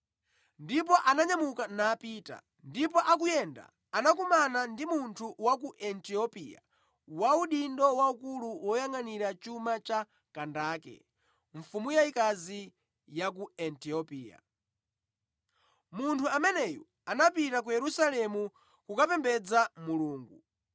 Ndipo ananyamuka napita, ndipo akuyenda anakumana ndi munthu wa ku Etiopia wa udindo waukulu woyangʼanira chuma cha Kandake, mfumu yayikazi ya ku Etiopia. Munthu ameneyu anapita ku Yerusalemu kukapembedza Mulungu,